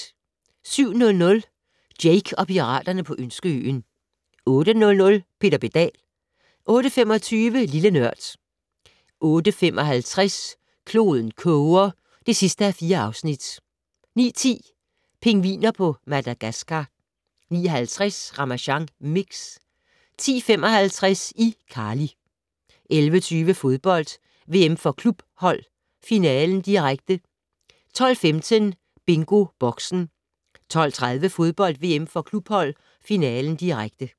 07:00: Jake og piraterne på Ønskeøen 08:00: Peter Pedal 08:25: Lille Nørd 08:55: Kloden koger (4:4) 09:10: Pingviner fra Madagascar 09:50: Ramasjang Mix 10:55: iCarly 11:20: Fodbold: VM for klubhold - finalen, direkte 12:15: BingoBoxen 12:30: Fodbold: VM for klubhold - finalen, direkte